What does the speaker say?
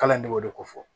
Kalan ne b'o de fɔ